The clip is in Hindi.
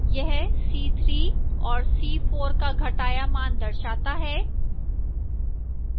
यह c3 और c4 का घटाया मान दर्शाता है